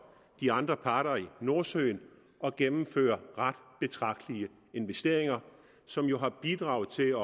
de andre parter i nordsøen at gennemføre ret betragtelige investeringer som jo har bidraget til